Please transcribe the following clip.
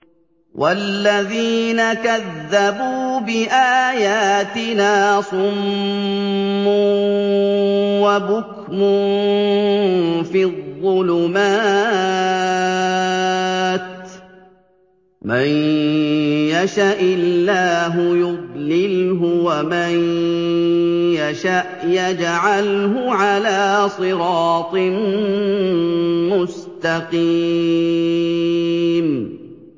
وَالَّذِينَ كَذَّبُوا بِآيَاتِنَا صُمٌّ وَبُكْمٌ فِي الظُّلُمَاتِ ۗ مَن يَشَإِ اللَّهُ يُضْلِلْهُ وَمَن يَشَأْ يَجْعَلْهُ عَلَىٰ صِرَاطٍ مُّسْتَقِيمٍ